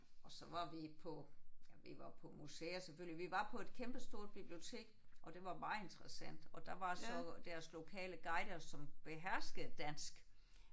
Og så var vi på ja vi var på museer selvfølgelig. Vi var på et kæmpestort bibliotek og det var meget interessant og der var så deres lokale guider som beherskede dansk